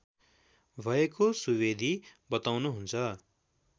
भएको सुवेदी बताउनुहुन्छ